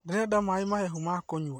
Nderenda maĩ mahehu ma kũnyua